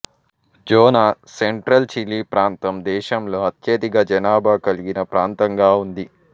Zona central Chile ప్రాంతం దేశంలో అత్యధిక జనాభా కలిగిన ప్రాంతంగా ఉంది